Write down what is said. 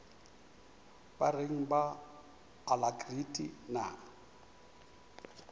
ba reng ba alacrity na